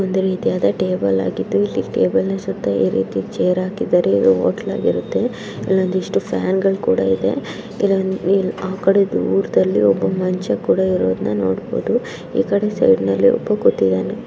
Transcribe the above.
Table ಆಗಿದ್ದುಚೇರ್ ಹಾಕಿದರೆ hotel ಆಗಿರುತ್ತೆಇದಿಷ್ಟು ಫ್ಯಾನ್‌ಗಳು ಕೂಡ ಇದೆ. ಇದನ್ನು ಆ ಕಡೆ ದೂರದಲ್ಲಿ ಒಬ್ಬ ಮುಂಚೆ ಕೂಡ ಇರೋದನ್ನ ನೋಡಿ ಕೊಂಡು ಈ ಕಡೆ ಸೆಲ್ ನಲ್ಲಿ ಹೋಗುತ್ತಿದ್ದನು.